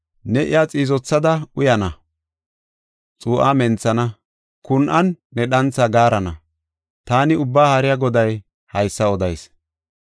Ne iya xiizothada uyana; xuu7a menthana; kun7an ne dhantha gaarana.” Taani Ubbaa Haariya Goday haysa odayis.